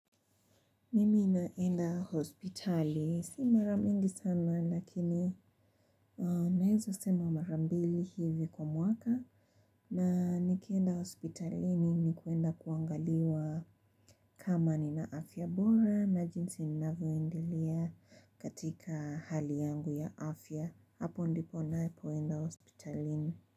Mimi naenda hospitali. Si mara mingi sana lakini naweza sema mara mbili hivi kwa mwaka. Na nikienda hospitalini ni kwenda kuangaliwa kama nina afya bora na jinsi ninavyoendelea katika hali yangu ya afya. Hapo ndipo napoenda hospitalini.